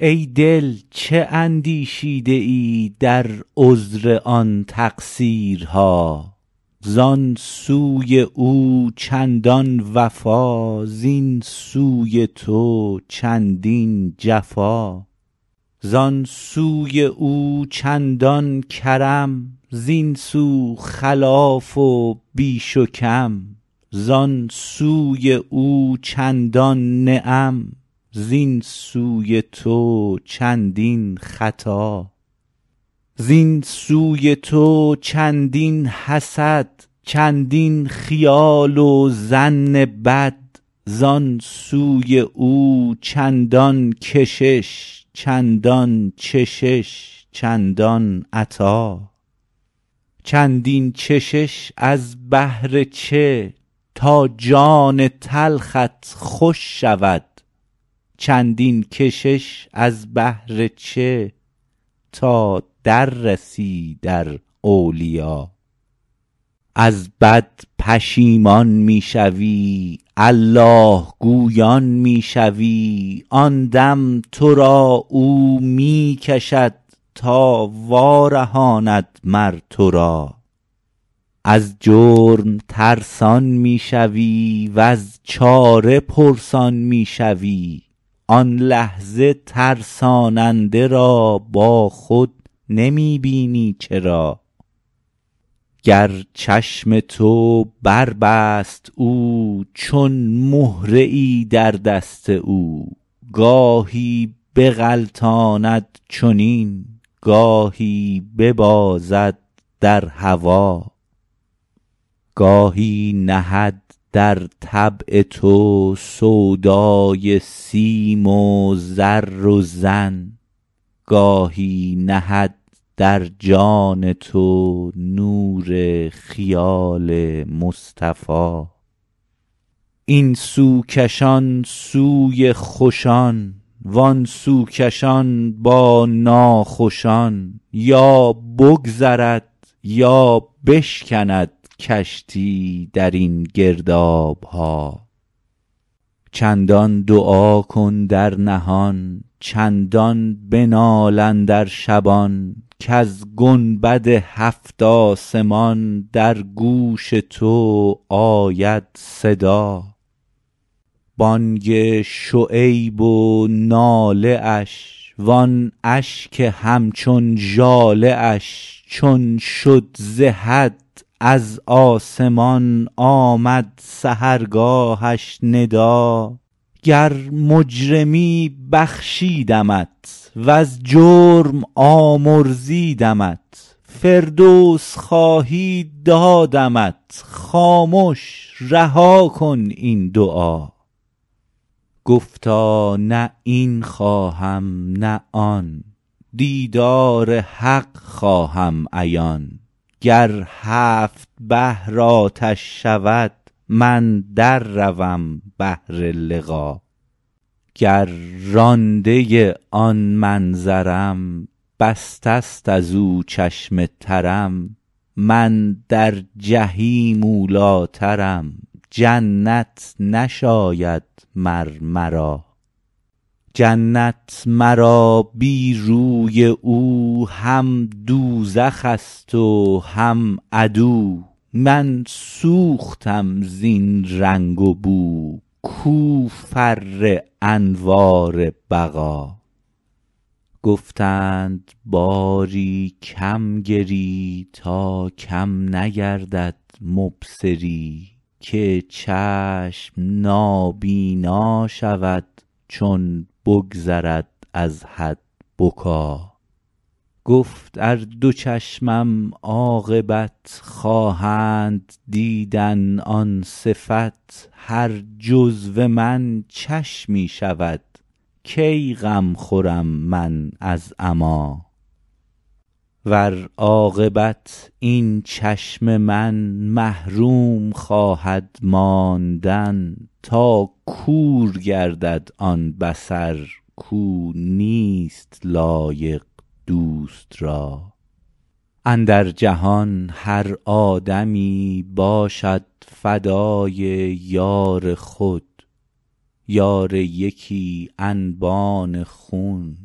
ای دل چه اندیشیده ای در عذر آن تقصیرها زان سوی او چندان وفا زین سوی تو چندین جفا زان سوی او چندان کرم زین سو خلاف و بیش و کم زان سوی او چندان نعم زین سوی تو چندین خطا زین سوی تو چندین حسد چندین خیال و ظن بد زان سوی او چندان کشش چندان چشش چندان عطا چندین چشش از بهر چه تا جان تلخت خوش شود چندین کشش از بهر چه تا در رسی در اولیا از بد پشیمان می شوی الله گویان می شوی آن دم تو را او می کشد تا وارهاند مر تو را از جرم ترسان می شوی وز چاره پرسان می شوی آن لحظه ترساننده را با خود نمی بینی چرا گر چشم تو بربست او چون مهره ای در دست او گاهی بغلطاند چنین گاهی ببازد در هوا گاهی نهد در طبع تو سودای سیم و زر و زن گاهی نهد در جان تو نور خیال مصطفیٰ این سو کشان سوی خوشان وان سو کشان با ناخوشان یا بگذرد یا بشکند کشتی در این گرداب ها چندان دعا کن در نهان چندان بنال اندر شبان کز گنبد هفت آسمان در گوش تو آید صدا بانگ شعیب و ناله اش وان اشک همچون ژاله اش چون شد ز حد از آسمان آمد سحرگاهش ندا گر مجرمی بخشیدمت وز جرم آمرزیدمت فردوس خواهی دادمت خامش رها کن این دعا گفتا نه این خواهم نه آن دیدار حق خواهم عیان گر هفت بحر آتش شود من در روم بهر لقا گر رانده آن منظرم بسته است از او چشم ترم من در جحیم اولی ٰترم جنت نشاید مر مرا جنت مرا بی روی او هم دوزخ ست و هم عدو من سوختم زین رنگ و بو کو فر انوار بقا گفتند باری کم گری تا کم نگردد مبصری که چشم نابینا شود چون بگذرد از حد بکا گفت ار دو چشمم عاقبت خواهند دیدن آن صفت هر جزو من چشمی شود کی غم خورم من از عمیٰ ور عاقبت این چشم من محروم خواهد ماندن تا کور گردد آن بصر کو نیست لایق دوست را اندر جهان هر آدمی باشد فدای یار خود یار یکی انبان خون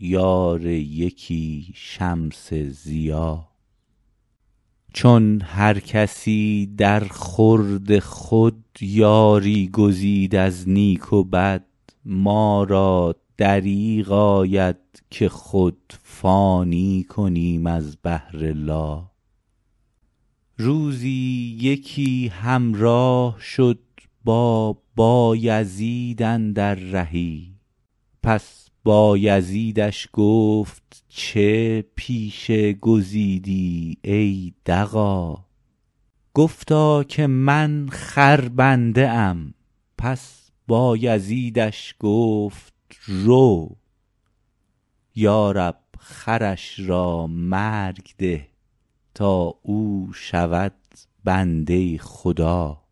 یار یکی شمس ضیا چون هر کسی درخورد خود یاری گزید از نیک و بد ما را دریغ آید که خود فانی کنیم از بهر لا روزی یکی همراه شد با بایزید اندر رهی پس بایزیدش گفت چه پیشه گزیدی ای دغا گفتا که من خربنده ام پس بایزیدش گفت رو یا رب خرش را مرگ ده تا او شود بنده خدا